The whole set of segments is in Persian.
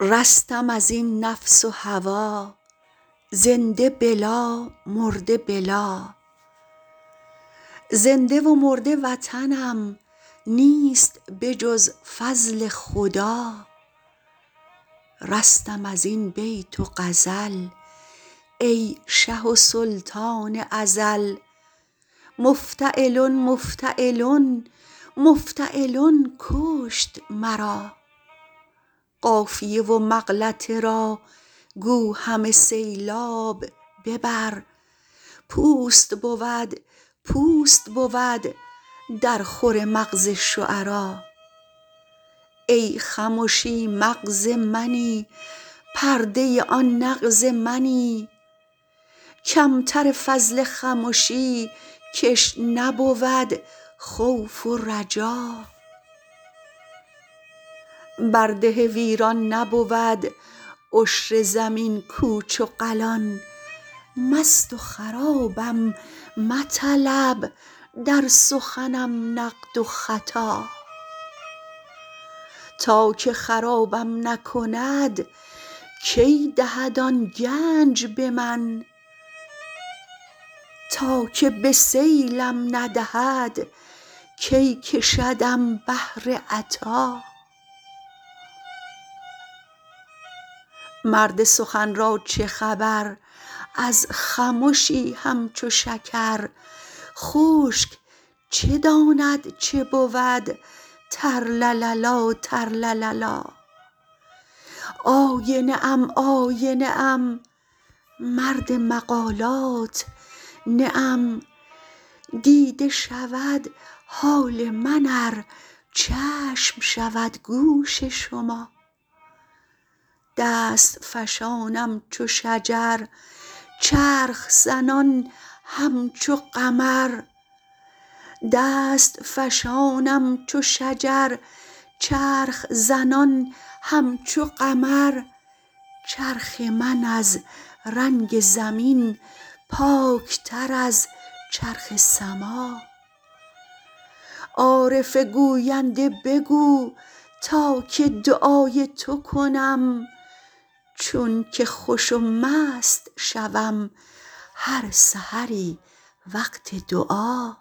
رستم از این نفس و هوا زنده بلا مرده بلا زنده و مرده وطنم نیست به جز فضل خدا رستم از این بیت و غزل ای شه و سلطان ازل مفتعلن مفتعلن مفتعلن کشت مرا قافیه و مغلطه را گو همه سیلاب ببر پوست بود پوست بود درخور مغز شعرا ای خمشی مغز منی پرده آن نغز منی کم تر فضل خمشی کش نبود خوف و رجا بر ده ویران نبود عشر زمین کوچ و قلان مست و خرابم مطلب در سخنم نقد و خطا تا که خرابم نکند کی دهد آن گنج به من تا که به سیلم ندهد کی کشدم بحر عطا مرد سخن را چه خبر از خمشی همچو شکر خشک چه داند چه بود ترلللا ترلللا آینه ام آینه ام مرد مقالات نه ام دیده شود حال من ار چشم شود گوش شما دست فشانم چو شجر چرخ زنان همچو قمر چرخ من از رنگ زمین پاک تر از چرخ سما عارف گوینده بگو تا که دعای تو کنم چون که خوش و مست شوم هر سحری وقت دعا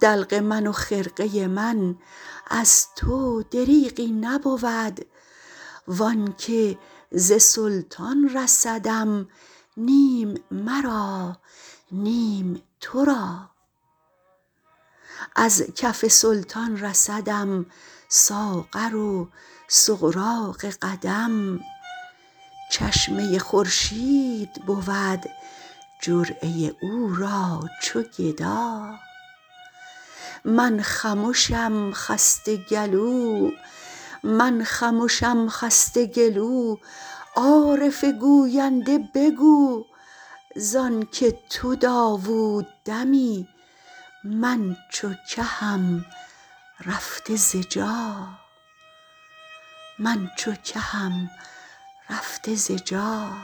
دلق من و خرقه من از تو دریغی نبود و آن که ز سلطان رسدم نیم مرا نیم تو را از کف سلطان رسدم ساغر و سغراق قدم چشمه خورشید بود جرعه او را چو گدا من خمشم خسته گلو عارف گوینده بگو ز آن که تو داوود دمی من چو کهم رفته ز جا